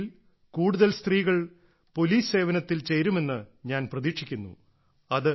ഭാവിയിൽ കൂടുതൽ സ്ത്രീകൾ പോലീസ് സേവനത്തിൽ ചേരുമെന്ന് ഞാൻ പ്രതീക്ഷിക്കുന്നു